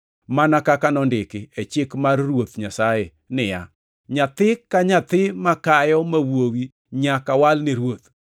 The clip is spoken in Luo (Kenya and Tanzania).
(mana kaka nondiki e chik mar Ruoth Nyasaye niya, “Nyathi ka nyathi makayo ma wuowi nyaka wal ne Ruoth” + 2:23 \+xt Wuo 13:2,12\+xt*),